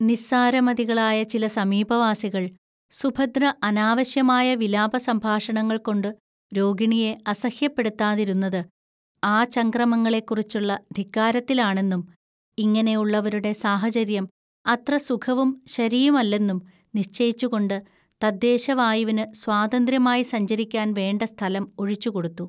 നിസ്സാരമതികളായ ചില സമീപവാസികൾ, സുഭദ്ര അനാവശ്യമായ വിലാപസംഭാഷണങ്ങൾകൊണ്ട് രോഗിണിയെ അസഹ്യപ്പെടുത്താതിരുന്നത് ആചംക്രമങ്ങളെക്കുറിച്ചുള്ള ധിക്കാരത്തിലാണെന്നും, ഇങ്ങനെ ഉള്ളവരുടെ സാഹചര്യം അത്ര സുഖവും ശരിയും അല്ലെന്നും, നിശ്ചയിച്ചുകൊണ്ട് തദ്ദേശവായുവിനു സ്വാതന്ത്ര്യമായി സഞ്ചരിക്കാൻ വേണ്ട സ്ഥലം ഒഴിച്ചുകൊടുത്തു